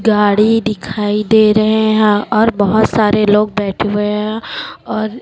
गाड़ी दिखाई दे रहे हैं और बहुत सारे लोग बैठे हुए हैं और--